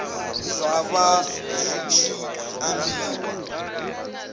zwa vha zwi tshi ambiwa